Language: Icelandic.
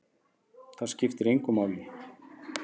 Það skiptir engu máli!